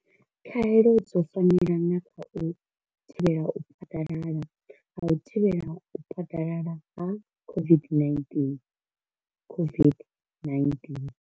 Khaelo dzo fanela na kha u thivhela u phaḓalala ha u thivhela u phaḓalala ha COVID-19 COVID-19.